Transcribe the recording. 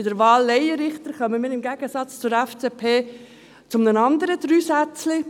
Bei der Laienrichterwahl kommen wir im Gegensatz zur FDP zu einem anderen Dreisätzchen: